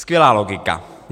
Skvělá logika!